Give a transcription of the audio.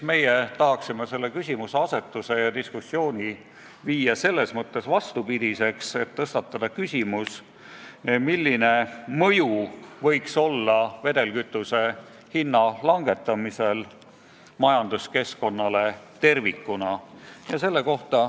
Meie tahaksime selle küsimuse asetuse ja diskussiooni viia vastupidiseks, st tõstatada küsimuse, milline võiks olla vedelkütuse hinna langetamise mõju majanduskeskkonnale tervikuna.